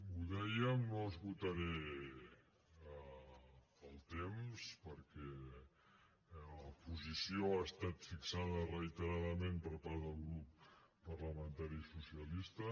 ho dèiem no esgotaré el temps perquè la posició ha estat fixada reiteradament per part del grup parlamentari socialista